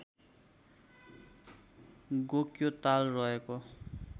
गोक्यो ताल रहेको